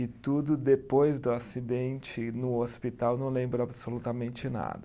E tudo depois do acidente, no hospital, não lembro absolutamente nada.